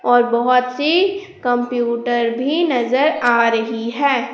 और बहुत सी कंप्यूटर भी नजर आ रही है।